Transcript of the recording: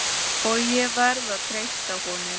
og ég verð að treysta honum.